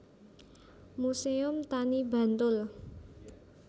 Muséum Tani Bantul